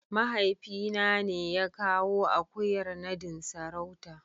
mahaifina ne ya kawo akuyar nadin sarauta.